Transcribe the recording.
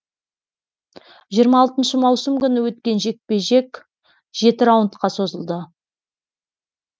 жиырма алтыншы маусым күні өткен жекпе жек жеті раундқа созылды